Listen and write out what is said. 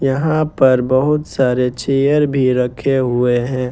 यहां पर बहुत सारे चेयर भी रखे हुए हैं।